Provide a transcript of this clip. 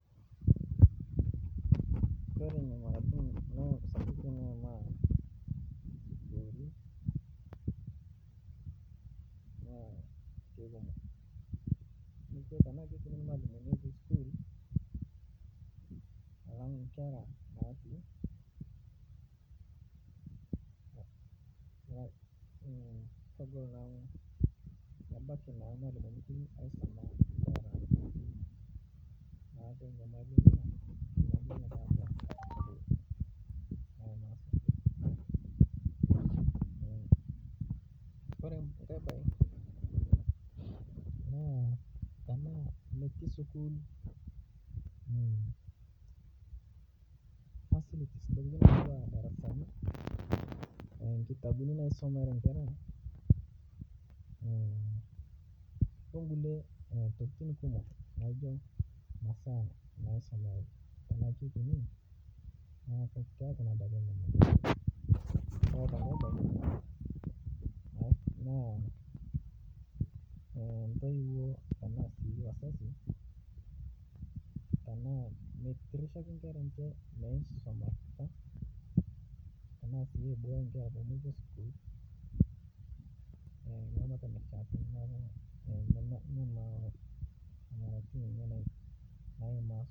Ore enaikunono naa kikumok amu tenaa irmalimu kumok tee sukuul alang enkera natii naa kebaiki naa irmalimuni pii aisuma enkera metii enyamali pii ore enkae mbae naa tenaa metii sukuul facilities enaa darasani ashu nkitabuni naisumare enkera oo nkulie tokitin kumok enaa masaa nisumareki ore pee eku kutiik naa entoyiwuo naa kitirashaki enkera enye maisumata